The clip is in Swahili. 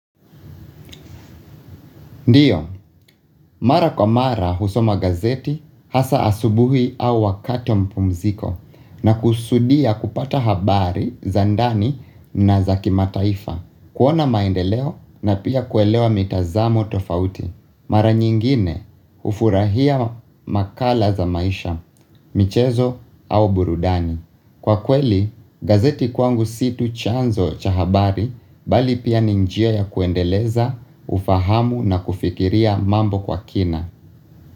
Ndiyo, mara kwa mara husoma gazeti hasa asubuhi au wakati wa mapumziko na kusudia kupata habari za ndani na za kimataifa. Kuona maendeleo na pia kuelewa mitazamo tofauti. Mara nyingine ufurahia makala za maisha, michezo au burudani. Kwa kweli, gazeti kwangu situ chanzo chahabari bali pia ninjia ya kuendeleza, ufahamu na kufikiria mambo kwa kina.